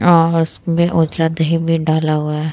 और उपलध है बेड डाला हुआ है ।